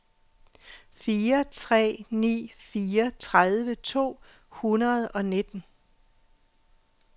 fire tre ni fire tredive to hundrede og nitten